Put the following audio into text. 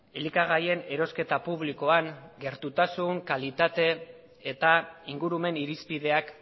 elikagaien erosketa publikoan gertutasun kalitate eta ingurumen irizpideak